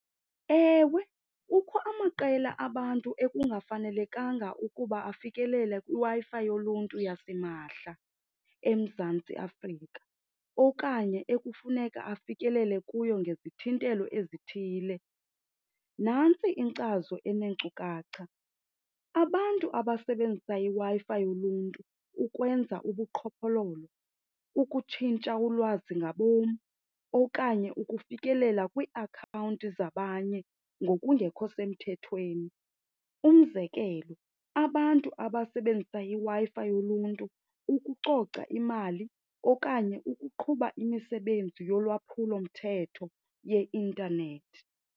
Ewe, kukho amaqela abantu ekungafanelekanga ukuba afikelele kwiWi-Fi yoluntu yasimahla eMzantsi Afrika okanye ekufuneka afikelele kuyo ngezithintelo ezithile. Nantsi inkcazo eneenkcukacha, abantu abasebenzisa iWi-Fi yoluntu ukwenza ubuqhophololo, ukutshintsha ulwazi ngabom, okanye ukufikelela kwiiakhawunti zabanye ngokungekho semthethweni. Umzekelo, abantu abasebenzisa iWi-Fi yoluntu ukucoca imali okanye ukuqhuba imisebenzi yolwaphulomthetho yeintanethi.